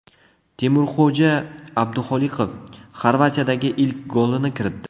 Temurxo‘ja Abduxoliqov Xorvatiyadagi ilk golini kiritdi.